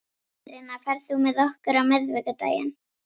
Írena, ferð þú með okkur á miðvikudaginn?